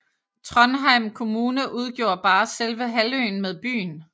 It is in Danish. Trondheim kommune udgjorde bare selve halvøen med byen